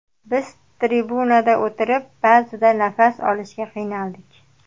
Biz tribunada o‘tirib ba’zida nafas olishga qiynaldik.